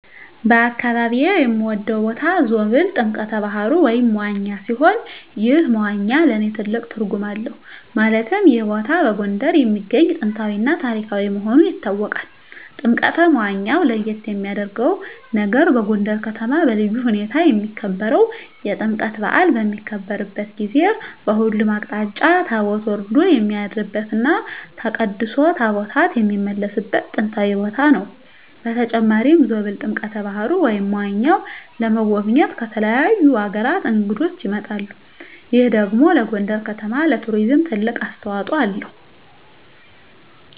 በአካባቢየ የምወደው ቦታ ዞብል ጥምቀተ ባህሩ (መዋኛ) ሲሆን ይህ መዋኛ ለእኔ ትልቅ ትርጉም አለው ማለትም ይህ ቦታ በጎንደር የሚገኝ ጥንታዊ እና ታሪካዊ መሆኑ ይታወቃል። ጥምቀተ መዋኛው ለየት የሚያረገው ነገር በጎንደር ከተማ በልዩ ሁኔታ የሚከበረው የጥምቀት በአል በሚከበርበት ጊዜ በሁሉም አቅጣጫ ታቦት ወርዶ የሚያድርበት እና ተቀድሶ ታቦታት የሚመለስበት ጥንታዊ ቦታ ነው። በተጨማሪም ዞብል ጥምቀተ በሀሩ (መዋኛው) ለመጎብኘት ከተለያዩ አገራት እንግዶች ይመጣሉ ይህ ደግሞ ለጎንደር ከተማ ለቱሪዝም ትልቅ አስተዋጽኦ አለው።